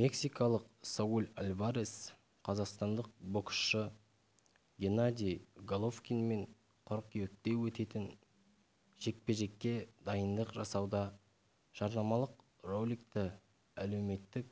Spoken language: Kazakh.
мексикалық сауль альварес қазақстандық боксшы геннадий головкинмен қыркүйекте өтетін жекпе-жекке дайындық жасауда жарнамалық роликті әлеуметтік